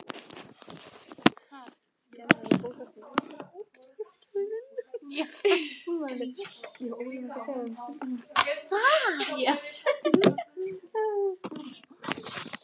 Gunnar Atli Gunnarsson: Hverjar eru þessar kröfur?